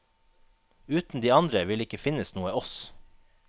Uten de andre vil det ikke finnes noe oss.